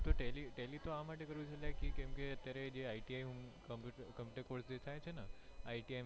tally તો મેં આ માટે કર્યું છે કે અત્યારે જે ITI course થાય છેને ITI માં કરવાંનું છે તો અત્યારે iti admission લગભગ આવશે માર્ચ ના જૂન ના એપ્રિલ month માં આવશે